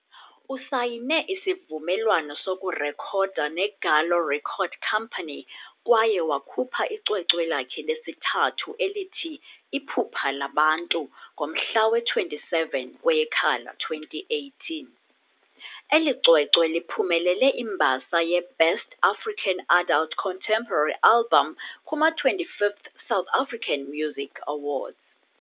Usayine isivumelwano sokurekhoda neGallo Record Company kwaye wakhupha icwecwe lakhe lesithathu elithi Iphupha Labantu ngomhla we 27 kweyeKhala 2018. Eli cwecwe liphumelele imbasa yeBest African Adult Contemporary Album kuma-25th South African Music Awards.